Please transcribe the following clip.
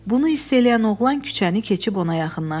Bunu hiss eləyən oğlan küçəni keçib ona yaxınlaşdı.